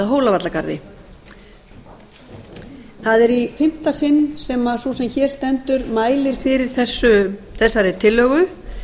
hólavallagarði það er í fimmta sinn sem að sú sem hér stendur mælir fyrir þessari tillögu